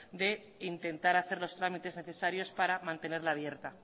de intentar hacer los trámites necesarios para mantenerla abierta